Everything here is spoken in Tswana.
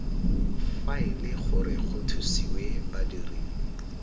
faele gore go thusiwe badiri